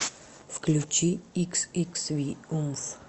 включи иксиксви умф